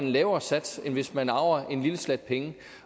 lavere sats end hvis man arver en lille slat penge